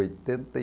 oitenta e